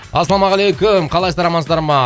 ассалаумағалейкум қалайсыздар амансыздар ма